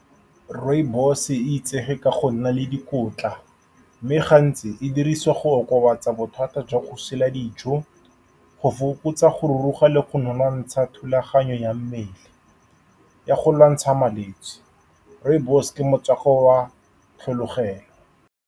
Rooibos-e e itsege ka go nna le dikotla, mme gantsi e dirisiwa go okobatsa bothata jwa go sila dijo, go fokotsa go ruruga le go nonontsha thulaganyo ya mmele ya go lwantsha malwetse. Rooibos-e ke motswako wa tlhologelo.